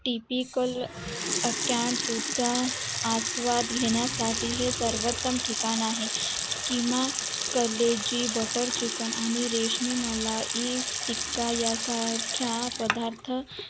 tipicalcorn food चा आस्वाद घेण्या साठी हे सर्वंतम ठिकाण आहे किमान college काल किमान कलेजी butter chicken आणि रेशमी मलाई टिक्का या सारख्या पदार्था